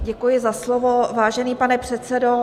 Děkuji za slovo, vážený pane předsedo.